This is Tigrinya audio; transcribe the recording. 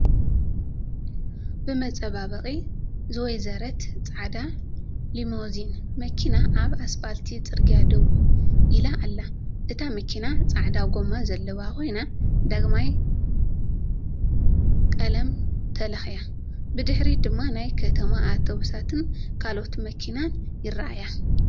ብመፃባበቒ ዝወይዘረት ጻዕዳ ሊሞዚን መኪና ኣብ ኣስፋልት ጽርግያ ደው ኢላ ኣላ። እታ መኪና ጻዕዳ ጎማ ዘለዋ ኮይና ዳግማይ ቀለም ተለኺያ። ብድሕሪት ድማ ናይ ከተማ ኣውቶቡሳትን ካልኦት መካይንን ይረኣያ።